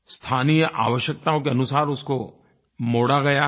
स्थानीय आवश्यकताओं के अनुसार उसको मोड़ा गया है